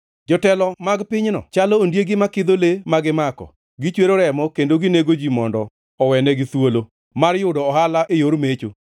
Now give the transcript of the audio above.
Jotelo mag pinyno chalo ondiegi makidho le ma gimako; gichwero remo kendo ginego ji mondo owenigi thuolo mar yudo ohala e yor mecho.